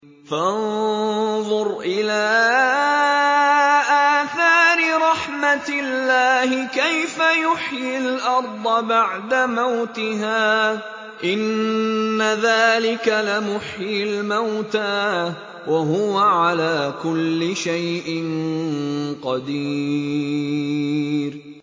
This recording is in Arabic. فَانظُرْ إِلَىٰ آثَارِ رَحْمَتِ اللَّهِ كَيْفَ يُحْيِي الْأَرْضَ بَعْدَ مَوْتِهَا ۚ إِنَّ ذَٰلِكَ لَمُحْيِي الْمَوْتَىٰ ۖ وَهُوَ عَلَىٰ كُلِّ شَيْءٍ قَدِيرٌ